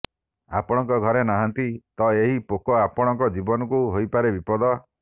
ଆପଣଙ୍କ ଘରେ ନାହାନ୍ତି ତ ଏହି ପୋକ ଆପଣଙ୍କ ଜୀବନକୁ ହୋଇପାରେ ବିପଦ